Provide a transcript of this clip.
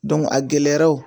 a gɛlɛyara o